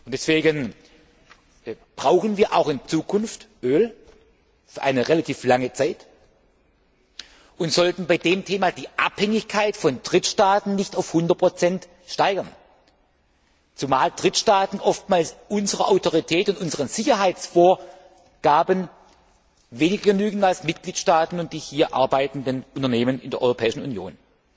Deswegen brauchen wir auch in Zukunft für eine relativ lange Zeit Öl und sollten die Abhängigkeit von Drittstaaten nicht auf 100 steigern, zumal Drittstaaten oftmals unserer Autorität und unseren Sicherheitsvorgaben weniger genügen als Mitgliedstaaten und die hier arbeitenden Unternehmen in der Europäischen Union.